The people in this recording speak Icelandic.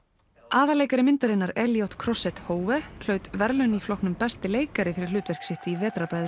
aðalleikari myndarinnar elliott Crosset Hove hlaut verðlaun í flokknum besti leikari fyrir hlutverk sitt í